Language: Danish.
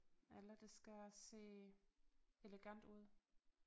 Eller det skal se elegant ud